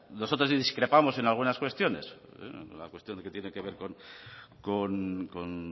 nosotros sí discrepamos en algunas cuestiones la cuestión que tiene que ver con